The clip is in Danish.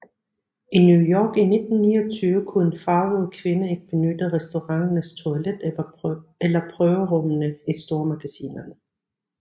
I New York i 1929 kunne en farvet kvinde ikke benytte restauranternes toilet eller prøverummene i stormagasinerne